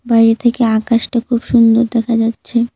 বাইরে থেকে আকাশটা খুব সুন্দর দেখা যাচ্ছে।